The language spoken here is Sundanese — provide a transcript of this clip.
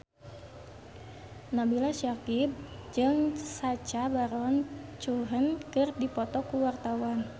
Nabila Syakieb jeung Sacha Baron Cohen keur dipoto ku wartawan